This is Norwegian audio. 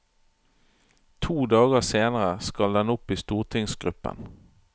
To dager senere skal den opp i stortingsgruppen.